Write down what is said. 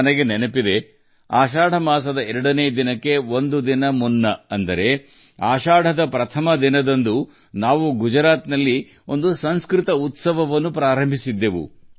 ನನಗೆ ನೆನಪಿದೆ ಆಷಾಢ ದ್ವಿತೀಯದ ಒಂದು ದಿನ ಮೊದಲು ಅಂದರೆ ಆಷಾಢದ ಮೊದಲ ತಿಥಿಯಂದು ನಾವು ಗುಜರಾತ್ನಲ್ಲಿ ಸಂಸ್ಕೃತ ಉತ್ಸವವನ್ನು ಪ್ರಾರಂಭಿಸಿದೆವು